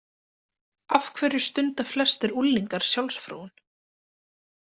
Af hverju stunda flestir unglingar sjálfsfróun?